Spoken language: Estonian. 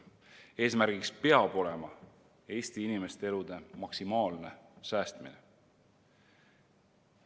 Eesmärk peab olema Eesti inimeste elude maksimaalne säästmine.